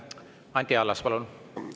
Anti Allas, palun!